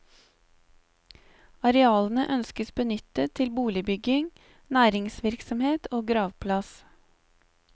Arealene ønskes benyttet til boligbygging, næringsvirksomhet og gravplass.